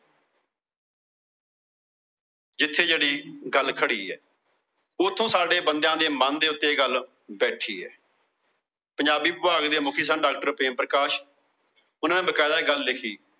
ਜਿੱਥੇ ਜਿਹੜੀ ਗੱਲ ਖੜੀ ਏ। ਉੱਥੇ ਸਾਡੇ ਬੰਦਿਆ ਦੇ ਮਨ ਦੇ ਉੱਤੇ ਇਹ ਗੱਲ ਬੈਠੀ ਏ। ਪੰਜਾਬੀ ਵਿਭਾਗ ਦੇ ਮੁੱਖੀ ਸਨ। DoctorPremPakash ਓਹਨਾ ਨੇ ਬਕੇਦਾ ਇਹ ਗੱਲ ਲਿਖੀ।